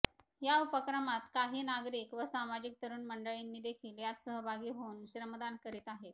या उपक्रमात काही नागरिक व सामाजिक तरुण मंडळांनीदेखील यात सहभागी होऊन श्रमदान करीत आहेत